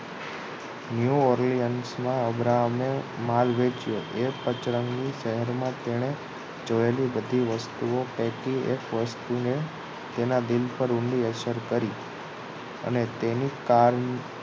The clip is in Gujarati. New ઓરલિયન્સ મા અબ્રાહમે માલ વેચ્યો એ પચરંગી શહેરમા તેણે જોએલી બધી વસ્તુઓ પૈકી એક વસ્તુને તેના દિલ પર ઊંડી અસર કરી અને તેની કાર